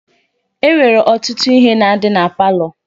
E nwere ọtụtụ ihe na-adị na palọ.